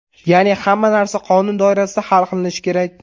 Ya’ni hamma narsa qonun doirasida hal qilinishi kerak.